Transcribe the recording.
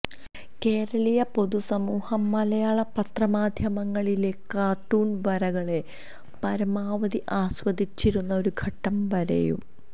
കേരളീയ പൊതു സമൂഹം മലയാള പത്രമാധ്യമങ്ങളിലെ കാര്ട്ടൂണ് വരകളെ പരമാവധി ആസ്വദിച്ചിരുന്നു ഒരു ഘട്ടം വരെയും